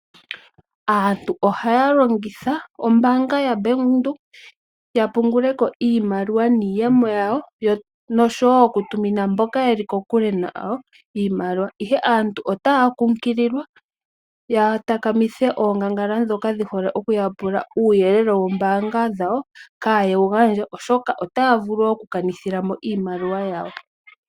Aantu ohaya longitha ombanga yaBank Windhoek ya punguleko iimaliwa niiyemo yawo noshowo oku tumina mboka yeli ko kule nayo iimaliwa. Ihe aantu ota kunkilile ya takamithe oongangala dhoka dhi hole oku yapul uuyelele woombanga dhawo kaa yedhi gandje oshoka otaa vulu oku kanithila mo iimaliwa yawo.